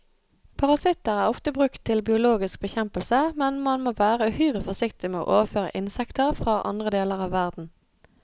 Parasitter er ofte brukt til biologisk bekjempelse, men man må være uhyre forsiktig med å overføre insekter fra andre deler av verden.